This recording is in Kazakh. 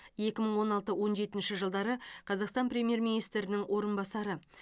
екі мың он алты он жетінші жылдары қазақстан премьер министрінің орынбасары